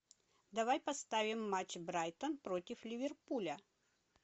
давай поставим матч брайтон против ливерпуля